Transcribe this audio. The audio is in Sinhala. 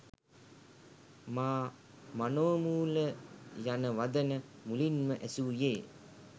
මා මනෝමූල යන වදන මුලින්ම ඇසූයේ